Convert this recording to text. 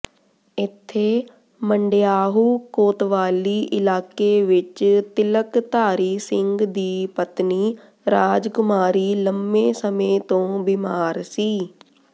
ਇੱਥੇ ਮੰਡਿਯਾਹੂ ਕੋਤਵਾਲੀ ਇਲਾਕੇ ਵਿੱਚ ਤਿਲਕਧਾਰੀ ਸਿੰਘ ਦੀ ਪਤਨੀ ਰਾਜਕੁਮਾਰੀ ਲੰਮੇ ਸਮੇਂ ਤੋਂ ਬਿਮਾਰ ਸੀ